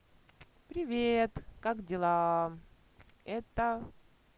привет как дела это